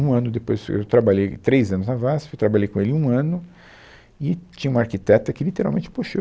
Um ano depois, eu trabalhei três anos na VASP, trabalhei com ele um ano, e tinha uma arquiteta que literalmente puxou.